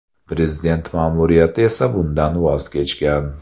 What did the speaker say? Prezident ma’muriyati esa bundan voz kechgan .